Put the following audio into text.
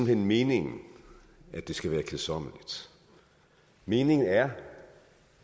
hen meningen at det skal være kedsommeligt meningen er